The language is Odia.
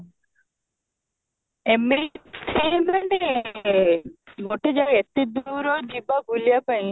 ଏମିତି ସେଇ ମାନେ ଗୋଟେ ଯାହା ହଉ ଏତେ ଦୂରରୁ ଯିବା ବୁଲିବା ପାଇଁ